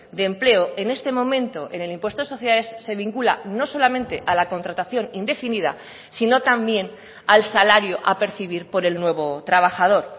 de empleo en este momento en el impuesto de sociedades se vincula no solamente a la contratación indefinida sino también al salario a percibir por el nuevo trabajador